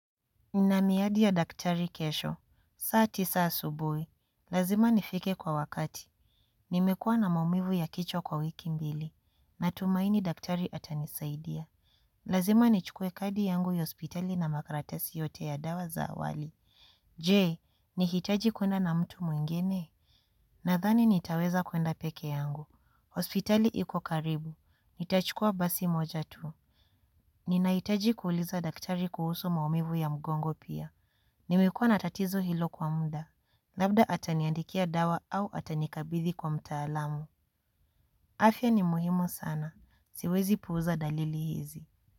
Nina miadi ya daktari kesho. Saa tisa asubuhi. Lazima nifike kwa wakati. Nimekuwa na maumivu ya kichwa kwa wiki mbili. Natumaini daktari atanisaidia. Lazima nichukue kadi yangu ya hospitali na makaratasi yote ya dawa za awali. Je, nihitaji kuenda na mtu mwingine? Nathani nitaweza kuenda peke yangu. Hospitali iko karibu. Nitachukua basi moja tu. Ninahitaji kuuliza daktari kuhusu maumivu ya mgongo pia. Nimekuwa na tatizo hilo kwa muda. Labda ataniandikia dawa au atanikanikabithi kwa mtaalamu. Afya ni muhimu sana. Siwezi puuza dalili hizi.